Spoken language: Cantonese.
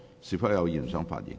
是否有議員想發言？